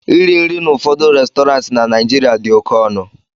iri nri n'ụfọdụ Restọrantị na Naijiria dị oke ọnụ